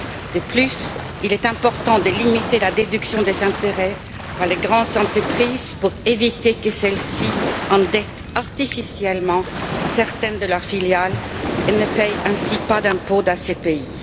De plus, il est important de limiter la déduction des intérêts par les grandes entreprises pour éviter que celles ci n'endettent artificiellement certaines de leurs filiales et ne paient ainsi pas d'impôt dans ces pays.